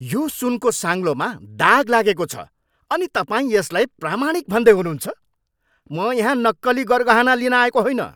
यो सुनको साङ्लोमा दाग लागेको छ अनि तपाईँ यसलाई प्रामाणिक भन्दै हुनुहुन्छ ? म यहाँ नक्कली गरगहना लिन आएको होइन।